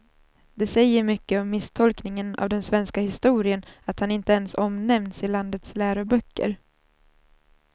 Det säger mycket om misstolkningen av den svenska historien att han inte ens omnämns i landets läroböcker.